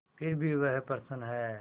फिर भी वह प्रसन्न है